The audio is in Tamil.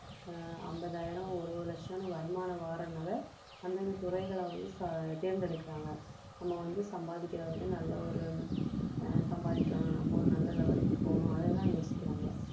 ஐம்பதாயிரம் ஒரு லட்சம்னு வருமானம் வர்றதுனால அந்தந்த துறைகளை வந்து தேர்ந்தெடுக்கிறாங்க நம்ம வந்து சம்பாதிக்கிறவங்க நல்ல ஒரு ஆஹ் சம்பாதிக்கணும் நம்ம நல்ல level க்கு போகணும் அதை தான் யோசிக்கிறாங்க